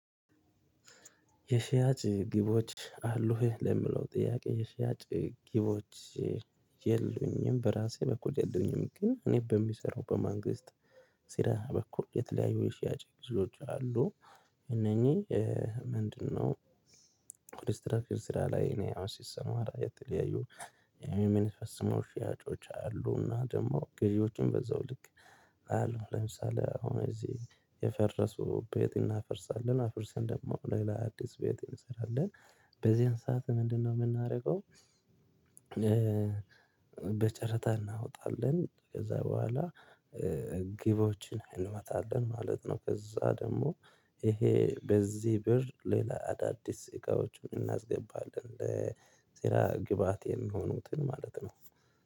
የሽያጭ ግቦች አሉህ ለምለው ጥያቄ? የሽያጭ ግቦች የሉኝም በራሴ በኩል የሉኝም። ግን እኔ በሚሰራው በማንግስት ስራ በኩል የተለያዩ የሽያጭ ጊዜዎች አሉ። እነኚህ ምንድነው? ኮንስትራክሽን ስራ ላይ እኔ አሁን ሲሰማራ የተለያዩ የሚኒፈፅምው ሽያጮች አሉና ደግሞ ግዢዎችን በዛው ልክ። አሉ ለምሳሌ አሁን እዚህ የፈረሱ ቤት እናፍርሳለን አፍርሰን ደግሞ ሌላ አዲስ ቤት እንሰራለን። በዚህን ሰዓት ምንድነው የምናደርገው? በጨረታ እናወጣለን ከዛ በኋላ ግቦችን እንመታለን ማለት ነው። ከዛ ደግሞ ይሄ በዚህ ብር ሌላ አዳዲስ እቃዎችን እናስገባለን። ስራ ግብአቴን የሚሆኑትን ማለት ነው።